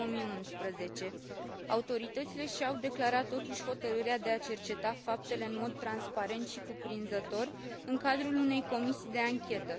2011. Autoritățile și au declarat, totuși, hotărârea de a cerceta faptele în mod transparent și cuprinzător, în cadrul unei comisii de anchetă.